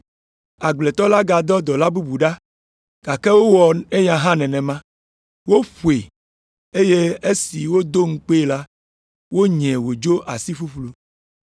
Agbletɔ la gadɔ dɔla bubu ɖa, gake wowɔ eya hã nenema; woƒoe, eye esi wodo ŋukpee la, wonyae wòdzo asi ƒuƒlu.